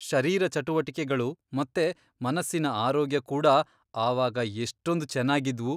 ಶರೀರ ಚಟುವಟಿಕೆಗಳು ಮತ್ತೆ ಮನಸ್ಸಿನ ಆರೋಗ್ಯ ಕೂಡಾ ಆವಾಗ ಎಷ್ಟೊಂದ್ ಚೆನ್ನಾಗಿದ್ವು.